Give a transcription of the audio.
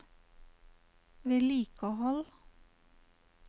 vedlikehold